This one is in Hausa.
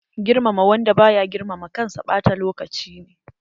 Girmama wanda baya girmama kansa ɓata lokaci ne.